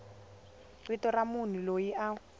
vito ra munhu loyi a